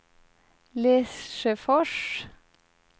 Lesjöfors